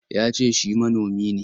Ya ce shi manomi ne.